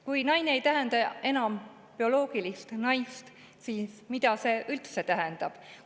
Kui naine ei tähenda enam bioloogilist naist, siis mida see üldse tähendab?